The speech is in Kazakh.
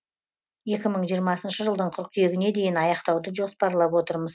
екі мың жиырмасыншы жылдың қыркүйегіне дейін аяқтауды жоспарлап отырмыз